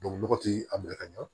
nɔgɔ tɛ a minɛ ka ɲa